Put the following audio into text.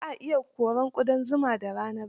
Ba a iya korar ƙudan zumar da rana ba.